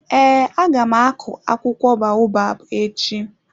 Ee, aga m akụ akwụkwọ baobab echi.